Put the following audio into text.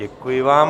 Děkuji vám.